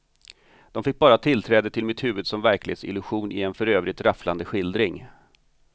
De fick bara tillträde till mitt huvud som verklighetsillusion i en för övrigt rafflande skildring.